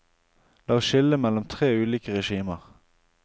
La oss skille mellom tre ulike regimer.